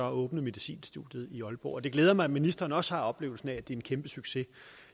åbne medicinstudiet i aalborg og det glæder mig at ministeren også har oplevelsen af at det er en kæmpe succes